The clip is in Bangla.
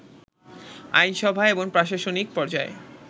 আইনসভায় এবং প্রশাসনিক পর্যায়ে